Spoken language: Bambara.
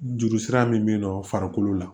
Juru sira min bɛ yen nɔ farikolo la